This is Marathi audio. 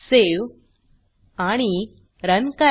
Saveआणि रन करा